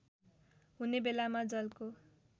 हुने बेलामा जलको